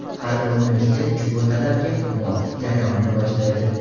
Har bir universitet ushbu talabga muvofiq jarayonni boshlaydi.